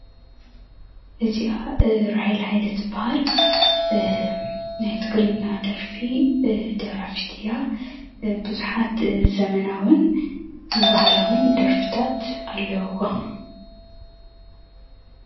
እዚኣ ራሄል ሃይለ ትብሃል። ናይ ትግርኛ ደርፊ ደራፊት እያ ብዙሓት ዘመናውን ባህላውን ደርፍታት ኣለውዋ።